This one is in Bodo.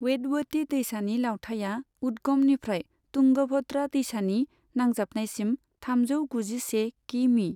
वेदवति दैसानि लावथाइया उद्गमनिफ्राय तुंगभद्रा दैसानि नांजाबनायसिम थामजौ गुजिसे किमि।